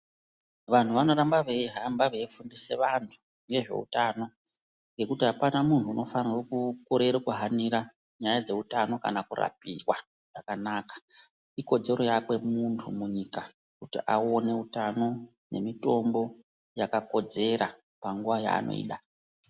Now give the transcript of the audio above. Vanhu vanoramba veihamba veifundise vantu nezveutano ngekuti hapana munhu unofanhe kukorere kuhanira nyaya dzeutano kana kurapiwa zvakanaka. Ikodzero yakwe muntu munyika kuti aone utano nemitombo yakakodzera panguva yaanoida.